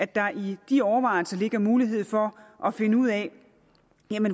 der i de overvejelser ligger mulighed for at finde ud af